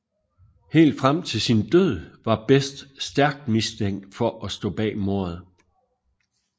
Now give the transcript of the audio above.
Helt frem til sin død var Best stærkt mistænkt for at stå bag mordet